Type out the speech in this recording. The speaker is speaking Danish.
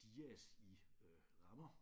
Dias i øh rammer